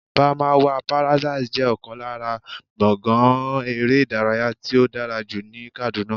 Barmawa paradise jẹ́ ọ̀kan lára gbọ̀ngán eré ìdárayá tí ó dára jù ní Kàdúná